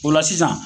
O la sisan